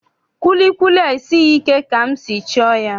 Kwilikwili a esighị ike ka m si chọọ ya.